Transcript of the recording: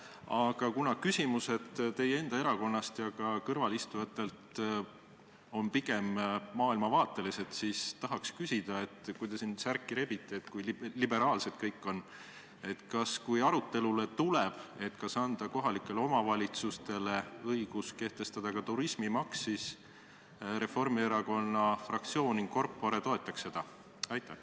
Aga kuna küsimused teie enda erakonnast ja ka kõrvalistujatelt on pigem maailmavaatelised, siis tahaks küsida, et kui te siin särki rebite, kui liberaalsed kõik on, kas siis, kui arutelule tuleb see, kas anda kohalikele omavalitsustele õigus kehtestada ka turismimaks, Reformierakonna fraktsioon in corpore toetaks seda?